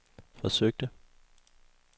forsøgte